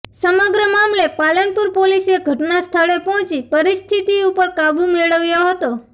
સમગ્ર મામલે પાલનપુર પોલીસે ઘટના સ્થળે પહોંચી પરિસ્થિતિ ઉપર કાબુ મેળવ્યો હતો